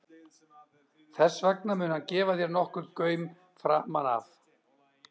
Þess vegna mun hann gefa þér nokkurn gaum framan af.